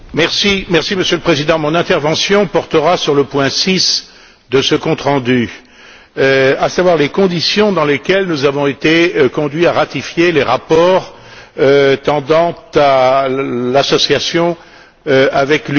Monsieur le Président, mon intervention portera sur le point 6 de ce compte rendu, à savoir les conditions dans lesquelles nous avons été conduits à ratifier les rapports tendant à l'association avec l'Ukraine.